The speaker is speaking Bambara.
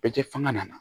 Bɛɛ tɛ fanga nana